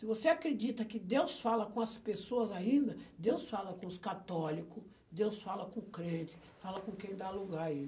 Se você acredita que Deus fala com as pessoas ainda, Deus fala com os católico, Deus fala com o crente, fala com quem dá lugar a ele.